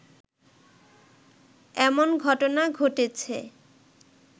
এমন ঘটনা ঘটেছে